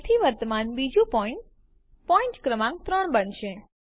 તેથી વર્તમાન બીજું પોઈન્ટ પોઈન્ટ ક્રમાંક ૩ બનશે